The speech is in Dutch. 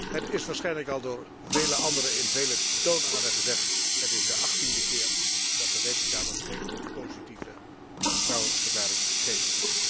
Het is waarschijnlijk al door vele anderen en vele toonaarden gezegd het is de achttiende keer dat de Rekenkamer geen positieve betrouwbaarheidsverklaring geeft.